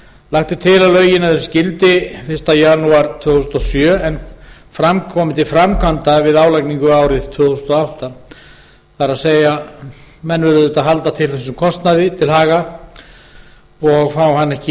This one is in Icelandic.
er til að lögin öðlist gildi fyrsta janúar tvö þúsund og sjö og komi til framkvæmda við álagningu árið tvö þúsund og átta það er að menn eiga að halda þessum kostnaði til haga og fá hann ekki